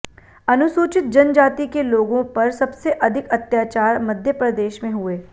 अनुसूचित जनजाति के लोगों पर सबसे अधिक अत्याचार मध्य प्रदेश में हुए